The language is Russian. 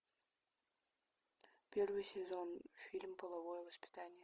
первый сезон фильм половое воспитание